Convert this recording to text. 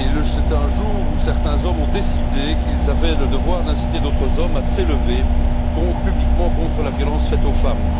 C'était un jour où certains hommes ont décidé qu'ils avaient le devoir d'inciter d'autres hommes à s'élever publiquement contre la violence faite aux femmes.